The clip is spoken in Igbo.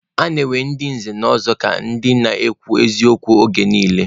A na-ewe ndị nze na ọzọ ka ndị na-ekwu eziokwu oge niile